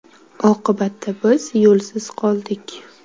Oqibatda biz yo‘lsiz qoldik.